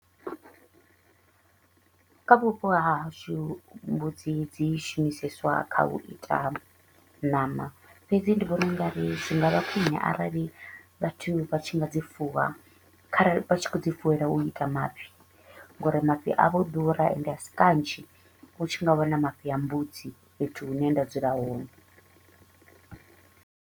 Kha vhupo ha hashu mbudzi dzi shumiseswa kha u ita ṋama, fhedzi ndi vhona u nga ri zwi nga vha khwine arali vhathu vha tshi dzi fuwa kharali vha tshi kho u dzi fuwela u ita mafhi, nga uri mafhi a vho ḓura and a si kanzhi u tshi nga wana mafhi a mbudzi fhethu hune nda dzula hone.